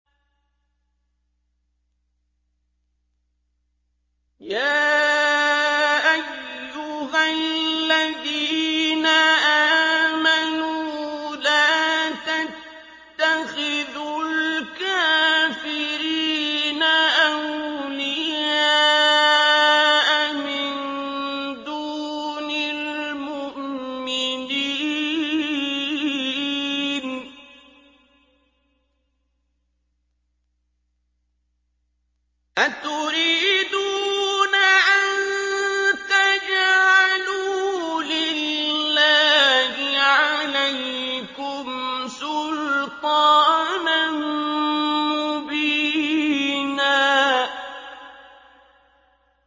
يَا أَيُّهَا الَّذِينَ آمَنُوا لَا تَتَّخِذُوا الْكَافِرِينَ أَوْلِيَاءَ مِن دُونِ الْمُؤْمِنِينَ ۚ أَتُرِيدُونَ أَن تَجْعَلُوا لِلَّهِ عَلَيْكُمْ سُلْطَانًا مُّبِينًا